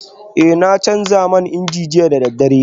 Eh na canza man inji jiya da daddare